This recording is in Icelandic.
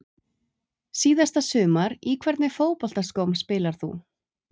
Síðasta sumar Í hvernig fótboltaskóm spilar þú?